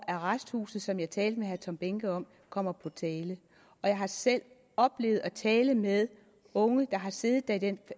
arresthuse som jeg talte med herre tom behnke om kommer på tale jeg har selv oplevet at tale med unge der har siddet der i den